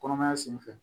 Kɔnɔmaya senfɛ